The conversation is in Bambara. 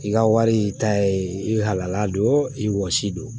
I ka wari ta ye i halala don i wɔsi don